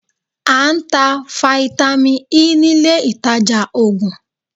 A ń tá Fáítámì Ẹ nílé ìtajà Ògùn